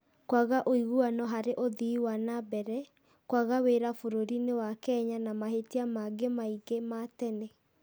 kwaga ũiguano harĩ ũthii wa na mbere, kwaga wĩra bũrũriinĩ wa Kenya na mahĩtia mangĩ maingĩ ma tene.